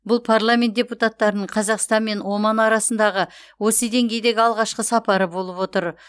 бұл парламент депутаттарының қазақстан мен оман арасындағы осы деңгейдегі алғашқы сапары болып отыр